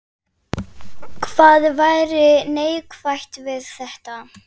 Hvað væri neikvætt við þetta?